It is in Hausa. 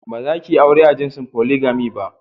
Bazakiyi aure a jinsin "polygamy " ba.